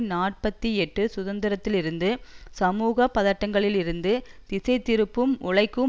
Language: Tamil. நாற்பத்தி எட்டு சுதந்திரத்திலிருந்து சமூக பதட்டங்களிலிருந்து திசைதிருப்புவும் உழைக்கும்